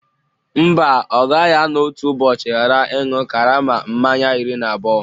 Mba, ọ gaghị anọ otu ụbọchị ghara ịṅụ karama mmanya iri na abụọ